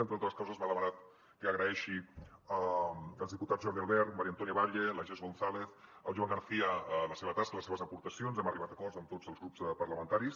entre altres coses m’ha demanat que agraeixi als diputats jordi albert maria antònia batlle la jess gonzález al joan garcía la seva tasca les seves aportacions hem arribat a acords amb tots els grups parlamentaris